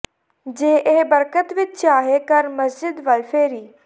ਜੇ ਇਹ ਬਰਕਤ ਵਿਚ ਚਾਹੇਂ ਕਰ ਮਸਜਿਦ ਵੱਲ ਫੇਰੀ